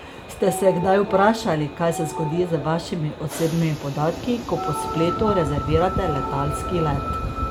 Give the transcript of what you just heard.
Ste se kdaj vprašali, kaj se zgodi z vašimi osebnimi podatki, ko po spletu rezervirate letalski let?